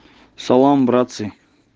салам братцы